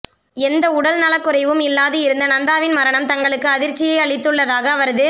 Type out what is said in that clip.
எந்த உடல் நலக்குறைவும் இல்லாது இருந்த நந்தாவின் மரணம் தங்களுக்கு அதிர்ச்சியை அளித்துள்ளதாக அவரது